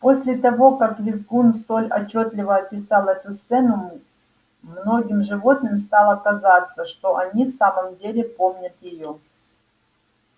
после того как визгун столь отчётливо описал эту сцену многим животным стало казаться что они в самом деле помнят её